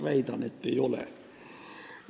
Väidan, et ei ole.